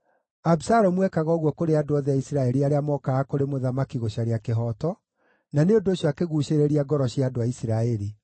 Abisalomu ekaga ũguo kũrĩ andũ othe a Isiraeli arĩa mookaga kũrĩ mũthamaki gũcaria kĩhooto, na nĩ ũndũ ũcio akĩguucĩrĩria ngoro cia andũ a Isiraeli.